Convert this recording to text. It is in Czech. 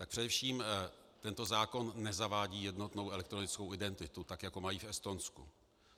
Tak především tento zákon nezavádí jednotnou elektronickou identitu, tak jako mají v Estonsku.